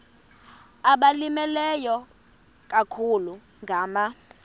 abalimileyo ikakhulu ngama